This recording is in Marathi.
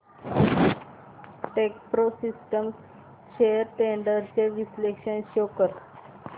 टेकप्रो सिस्टम्स शेअर्स ट्रेंड्स चे विश्लेषण शो कर